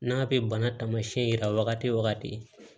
N'a bɛ bana taamasiyɛn yira wagati o wagati